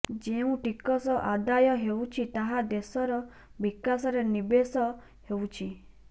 ଯେଉଁ ଟିକସ ଆଦାୟ ହେଉଛି ତାହା ଦେଶର ବିକାଶରେ ନିବେଶ ହେଉଛି